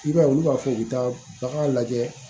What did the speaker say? I b'a ye olu b'a fɔ k'u bɛ taa bagan lajɛ